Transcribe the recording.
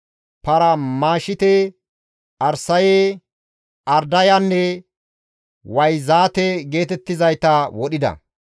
Parmmashite, Arsaye, Ardayanne Wayzaate geetettizayta wodhida.